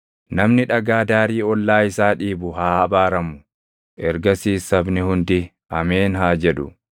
“Namni dhagaa daarii ollaa isaa dhiibu haa abaaramu.” Ergasiis sabni hundi, “Ameen!” haa jedhu.